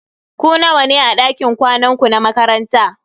Ku nawa ne a dakin kwanan ku na makaranta?